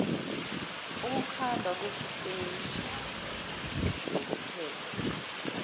ukukhandwa kweziteshi zokuphehlwa